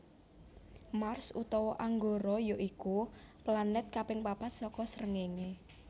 Mars utawa Anggara ya iku planèt kaping papat saka srengéngé